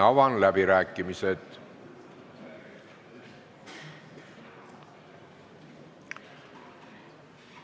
Avan läbirääkimised.